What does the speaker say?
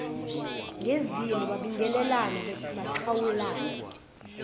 kuzimu babingelelana baxhawulana